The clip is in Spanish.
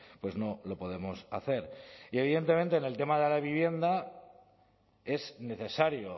pues no lo podemos hacer y evidentemente en el tema de la vivienda es necesario